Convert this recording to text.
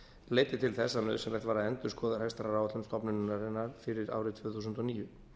leiddi til þess að nauðsynlegt var að endurskoða rekstraráætlun stofnunarinnar fyrir árið tvö þúsund og níu